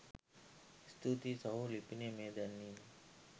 ස්තුතියි සහෝ ලිපිනය මෙය දැන්වීමක්